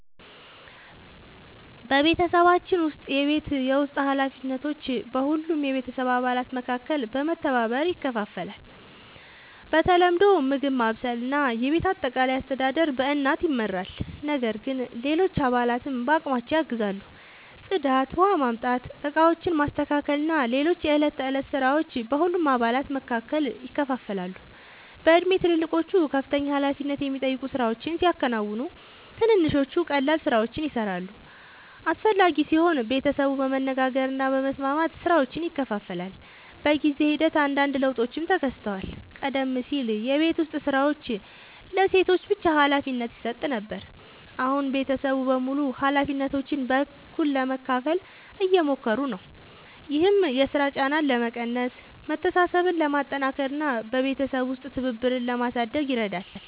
በቤተሰባችን ውስጥ የቤት ውስጥ ኃላፊነቶች በሁሉም የቤተሰብ አባላት መካከል በመተባበር ይከፋፈላሉ። በተለምዶ ምግብ ማብሰል እና የቤት አጠቃላይ አስተዳደር በእናት ይመራል፣ ነገር ግን ሌሎች አባላትም በአቅማቸው ያግዛሉ። ጽዳት፣ ውኃ ማምጣት፣ ዕቃዎችን ማስተካከል እና ሌሎች የዕለት ተዕለት ሥራዎች በሁሉም አባላት መካከል ይከፋፈላሉ። በእድሜ ትልልቆቹ ከፍተኛ ኃላፊነት የሚጠይቁ ሥራዎችን ሲያከናውኑ፣ ትንንሾቹ ቀላል ሥራዎችን ይሠራሉ። አስፈላጊ ሲሆን ቤተሰቡ በመነጋገር እና በመስማማት ሥራዎችን ይከፋፍላል። በጊዜ ሂደት አንዳንድ ለውጦችም ተከስተዋል። ቀደም ሲል የቤት ዉስጥ ሥራዎች ለሴቶች ብቻ ሀላፊነት ይሰጥ ነበር፣ አሁን ቤተሰቡ በሙሉ ኃላፊነቶችን በእኩልነት ለመካፈል እየሞከሩ ነው። ይህም የሥራ ጫናን ለመቀነስ፣ መተሳሰብን ለማጠናከር እና በቤተሰብ ውስጥ ትብብርን ለማሳደግ ይረዳል።